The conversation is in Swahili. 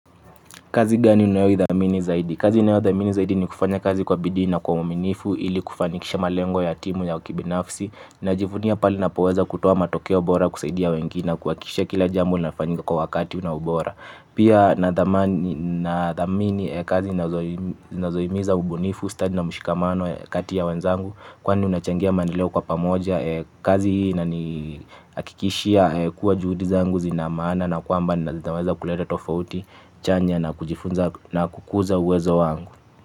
Kazi gani unayoithamini zaidi? Kazi unayoithamini zaidi ni kufanya kazi kwa bidii na kwa huminifu ili kufanikisha malengo ya timu ya ukibinafsi najifunia pali napoweza kutuwa matokeo bora kusaidia wengine na kuakishia kila jambo linafanyika kwa wakati una bora. Pia nathamini kazi nazoimiza mbunifu, study na mshikamano katia wanzangu. Kwa ni unachangia maendeleo kwa pamoja kazi na ni akikishia kuwa juhudi zangu zina maana. Na kuamba na zinaweza kuleta tofauti, chanya na kujifunza na kukuza uwezo wangu.